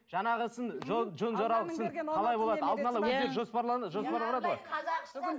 жаңағысын жөн жоралғысын қалай болады